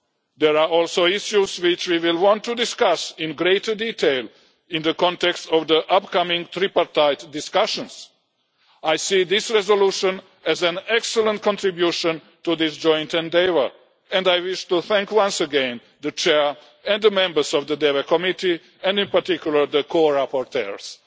There are also issues which we will want to discuss in greater detail in the context of the upcoming tripartite discussions. I see this resolution as an excellent contribution to this joint endeavour and I wish to thank once again the Chair and the members of the Development Committee, and in particular the co rapporteurs.